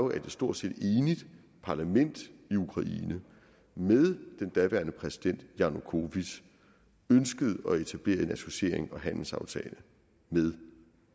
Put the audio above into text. et stort set enigt parlament i ukraine med den daværende præsident janukovitj ønskede at etablere en associerings og handelsaftale med